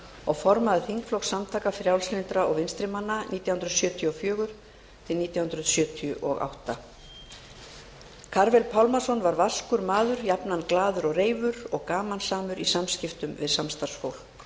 og formaður þingflokks samtaka frjálslyndra og vinstri manna nítján hundruð sjötíu og fjögur til nítján hundruð sjötíu og átta karvel pálmason var vaskur maður jafnan glaður og reifur og gamansamur í samskiptum við samstarfsfólk